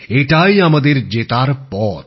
এটাই আমাদের জেতার পথ